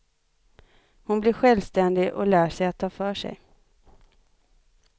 Hon blir självständig och lär sig att ta för sig.